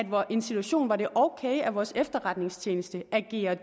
mig en situation hvor det er ok at vores efterretningstjeneste agerer